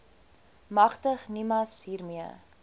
magtig nimas hiermee